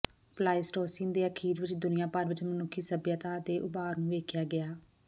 Pleistocene ਦੇ ਅਖੀਰ ਵਿਚ ਦੁਨੀਆਂ ਭਰ ਵਿਚ ਮਨੁੱਖੀ ਸਭਿਅਤਾ ਦੇ ਉਭਾਰ ਨੂੰ ਵੇਖਿਆ ਗਿਆ